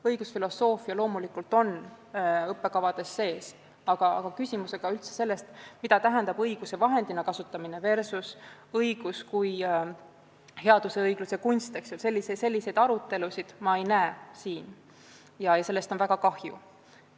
Õigusfilosoofia loomulikult on õppekavades sees, aga arutelusid teemal "õiguse vahendina kasutamine versus õigus kui headuse ja õigluse kunst" ma siin ei näe ja sellest on väga kahju.